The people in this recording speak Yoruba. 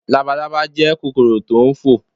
Labalábá jẹ́ kòkòrò tò n fò